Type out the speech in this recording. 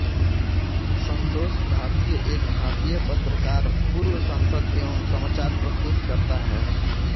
संतोष भारतीय एक भारतीय पत्रकार पूर्व सांसद एवं समाचार प्रस्तुतकर्ता हैं